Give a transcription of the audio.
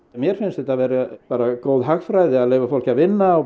mér finnst bara góð hagræði að leyfa fólki að vinna og